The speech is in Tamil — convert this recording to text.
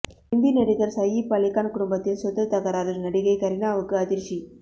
இந்தி நடிகர் சயீப் அலிகான் குடும்பத்தில் சொத்து தகராறு நடிகை கரீனாவுக்கு அதிர்ச்சி